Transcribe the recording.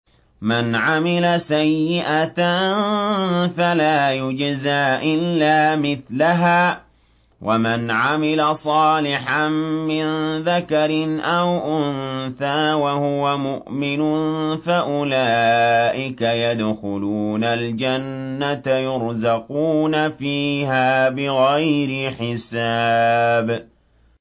مَنْ عَمِلَ سَيِّئَةً فَلَا يُجْزَىٰ إِلَّا مِثْلَهَا ۖ وَمَنْ عَمِلَ صَالِحًا مِّن ذَكَرٍ أَوْ أُنثَىٰ وَهُوَ مُؤْمِنٌ فَأُولَٰئِكَ يَدْخُلُونَ الْجَنَّةَ يُرْزَقُونَ فِيهَا بِغَيْرِ حِسَابٍ